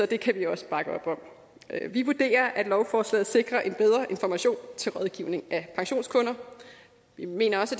det kan vi også bakke op om vi vurderer at lovforslaget sikrer en bedre information til rådgivning af pensionskunder vi mener også